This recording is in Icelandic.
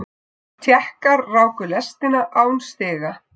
Tékkar ráku lestina án stiga.